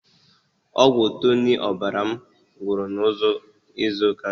Ọgwụ Tụnic ọbara mụ gwụrụ na izụ ụka gara aga.